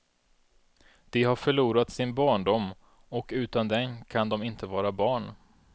De har förlorat sin barndom, och utan den kan de inte vara barn.